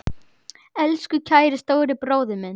Elsku kæri stóri bróðir minn.